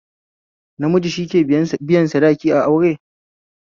Namiji shike biyan sadaki a aure